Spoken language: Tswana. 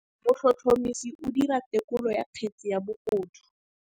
Motlhotlhomisi o dira têkolô ya kgetse ya bogodu.